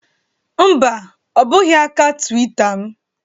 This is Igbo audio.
Mba, ọ bụghị aka Twitter m